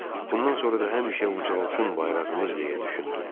Bundan sonra da həmişə ucalısın bayrağımız deyə düşündüm.